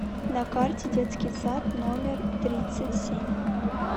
на карте детский сад номер тридцать семь